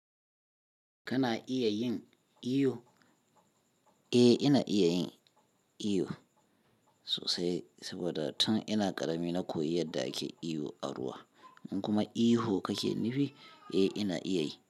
Kana iya yin iyo? Eh, ina iya yin iyo sosai saboda tun ina ƙarami na koyi yadda ake iyo a ruwa. In kuma ihu kake nufi, eh ina iya yi.